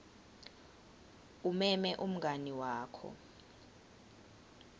umeme umngani wakho